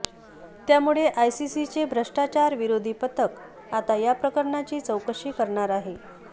त्यामुळे आयसीसीचे भ्रष्टाचारविरोधी पथक आता या प्रकरणाची चौकशी करणार आहे